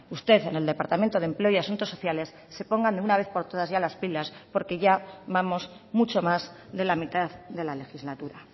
usted en el departamento de empleo y asuntos sociales se pongan de una vez por todas ya las pilas porque ya vamos mucho más de la mitad de la legislatura